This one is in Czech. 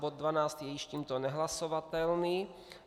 Bod 12 je již tímto nehlasovatelný.